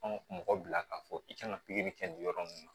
Anw mɔgɔ bila k'a fɔ i kan ka pikiri kɛ nin yɔrɔ ninnu na